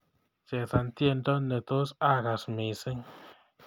Chesan tyendo netos agas missing